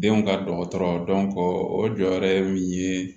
Denw ka dɔgɔtɔrɔ o jɔyɔrɔ ye min ye